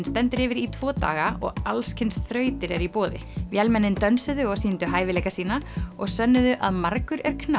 stendur yfir í tvo daga og alls kyns þrautir eru í boði vélmennin dönsuðu og sýndu hæfileika sína og sönnuðu að margur er